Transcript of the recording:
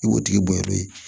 I b'o tigi bɔn n'o ye